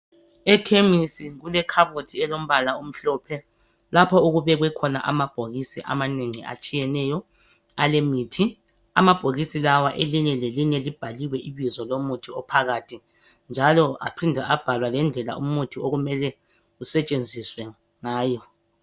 Ekhemisi kulekhabothi elombala omhlophe lapho okubekwe khona amabhokisi amanengi atshiyeneyo alemithi. Amabhokisi lawa elinye lelinye libhaliwe ibizo lomuthi ophakathi njalo aphinde abhalwa lendlela umuthi okumele usetshenziswe ngayo.